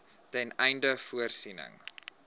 ten einde voorsiening